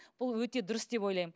бұл өте дұрыс деп ойлаймын